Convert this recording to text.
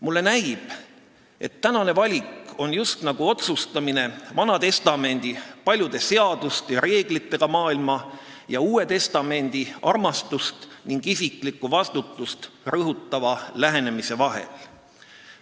Mulle näib, et tänane valik on just nagu otsustamine vana testamendi paljude seaduste ja reeglitega maailma ning uue testamendi armastust ning isiklikku vastutust rõhutava lähenemise vahel.